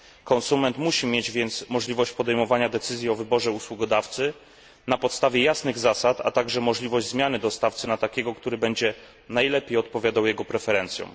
Konsument musi mieć więc możliwość podejmowania decyzji o wyborze usługodawcy na podstawie jasnych zasad, a także możliwość zmiany dostawcy na takiego, który będzie najlepiej odpowiadał jego preferencjom.